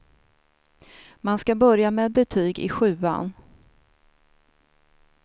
Man ska börja med betyg i sjuan.